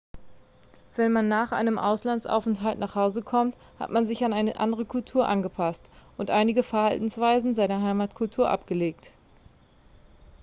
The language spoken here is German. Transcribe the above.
wenn man nach einem auslandsaufenthalt nach hause kommt hat man sich an eine andere kultur angepasst und einige verhaltensweisen seiner heimatkultur abgelegt